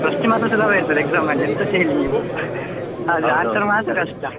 First ಮಾತ್ರ ಸುಲಭ ಇರ್ತದೆ exam ಅಲ್ಲಿ ಎಂತಸ ಹೇಳಿ ನೀವು ಆದ್ರೆ answer ಮಾತ್ರ ಕಷ್ಟ.